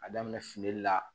A daminɛ fili la